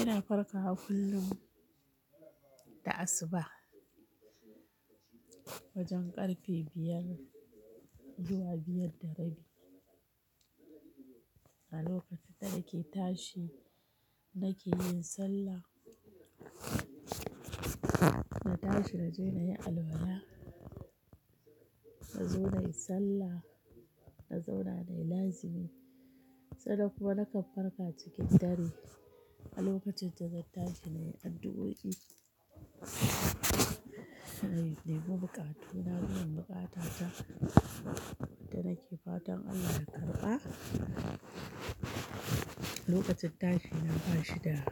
Ina farkawa kullum da asuba wajen ƙarfe biyar zuwa biyar da rabi. A lokacin da nake tashi nake yin sallah. Na tashi naje na yi alwala, na zo na yi sallah, na zauna na yi lazimi. Sannan kuma na kan farka cikin dare a lokacin da zan tashi na yi addu'o'i, nai nemi buƙatu na biyan buƙata ta da nake fatan Allah ya karɓa. Lokacin tashi na bashi da,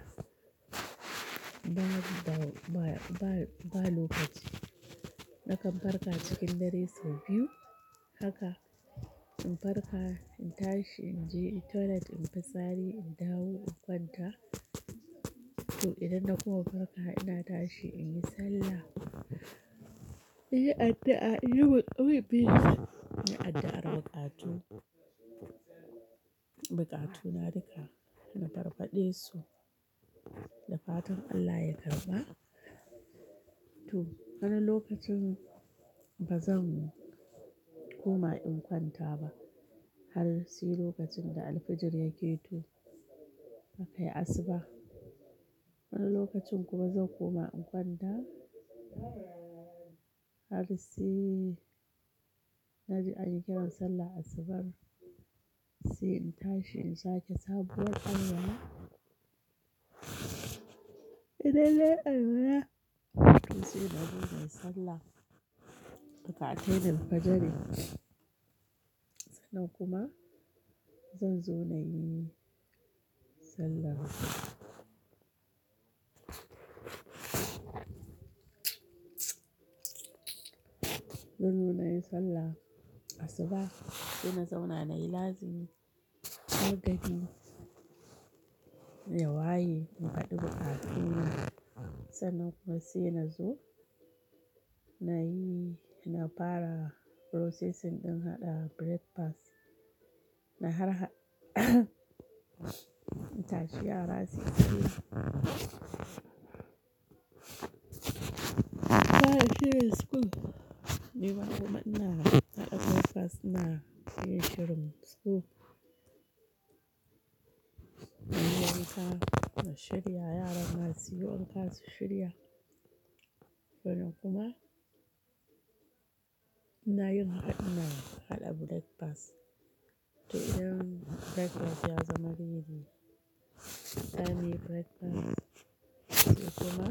ba, ba, ba, ba lokaci. Na kan farka cikin dare sau biyu. Haka in farka, in tashi, in je toilet in fitsari, in dawo in kwanta. To idan na kuma farka ina tashi in yi sallah, in yi addu'a, in yi ɓi, inyi addu'ar buƙatu. Buƙatu na duka na farfaɗe su da fatan Allah ya karɓa. To wani lokacin ba zan koma in kwanta ba har sai lokacin da alfijir ya ƙeto akai asuba. Wani lokacin kuma zan koma in kwanta har sai na ji an yi kiran sallar asubar. Sai in tashi in sake sabuwar alwala. Idan nayi alwala, to sai na zo na yi sallah. Buƙatai da alfajari. Sannan kuma zan zo na yi sallah. Zan zo na yi sallah asuba sai na zauna na yi lazimi. Har gari ya waye, in faɗi buƙatuna. Sannan kuma sai na zo na yi, na fara processing ɗin haɗa breakfast. Na harha in tashi yara suyi shiri, su fara shirin school. Ni ma kuma ina haɗa breakfast ina yin shirin school. Na shirya yaran ma suyi wanka su shirya. Sannan kuma ina yin haɗina haɗa breakfast. To idan breakfast ya zama ready, za nayi breakfast. To kuma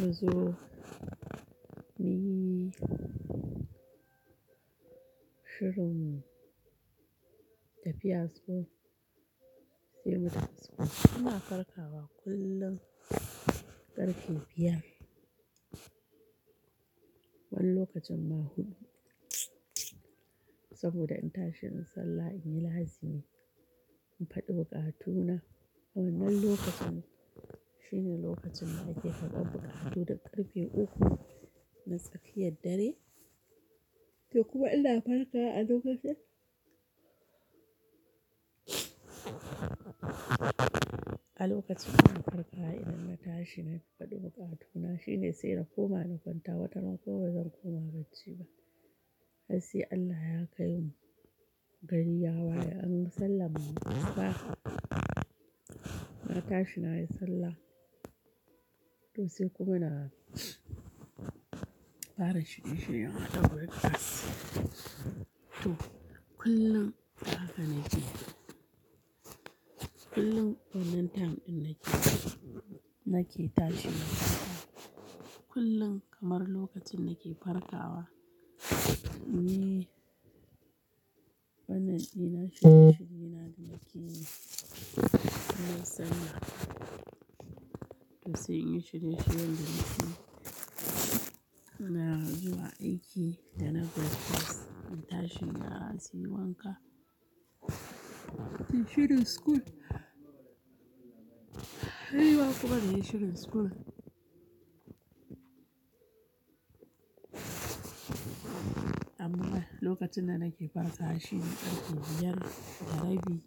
na zo miyi shirin tafiya school sai mu tafi school. Ina farkawa kullum ƙarfe biyar. Wani lokacin ma huɗu saboda in tashi in sallah, in yi lazimi, in faɗi buƙatuna. Wan nan lokacin shine lokacin da ake faɗar buƙatu da ƙarfe uku na tsakiyar dare. To kuma ina farkawa a lokacin. A lokacin ina farkawa idan na tashi na faɗi buƙatuna shine sai na koma na kwanta. Wataran kuma bazan koma bacci ba har sai Allah ya kai mu gari ya waye an sallama asuba. Na tashi na yi sallah to sai kuma na fara shirye-shiryen haka breakfast. To kullum haka nake yi. Kullum wannan time ɗin nake, nake tashi na farka. Kullum kamar lokacin nake farkawa, inyi wannan ɗina shirye-shirye na da nake yi. Innai sallah to sai in yi shirye shiryen da nakeyi. Na zuwa aiki da na breakfast. Na tashin yara suyi wanka, suyi shirin school. Ni ma kuma na yi shirin school. Amma lokacin da nake farka a shine ƙarfe biyar da rabi.